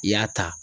I y'a ta